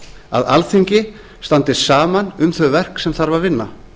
að alþingi standi saman um þau verk sem þarf að vinna